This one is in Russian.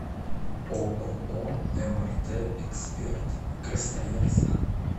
ооо мрт эксперт красноярск